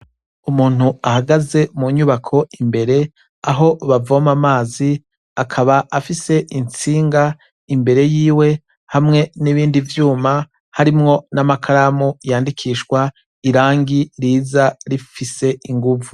Umuntu ahagaze munyubako imbere aho bavoma amazi akaba afise intsinga imbere yiwe hamwe n'ibindi vyuma harimwo n'amakaramu yandikishwa irangi riza rifise iguvu.